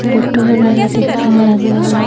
लड्डू वगैरह दिख रहे हैं लगे हुए।